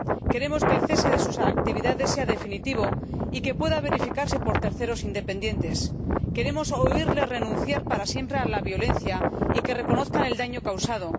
Queremos que el cese de sus actividades sea definitivo y que pueda verificarse por terceros independientes. Queremos oírle renunciar para siempre a la violencia y que reconozca el daño causado.